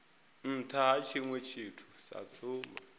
ha tshiṅwe tshithu sa tsumbo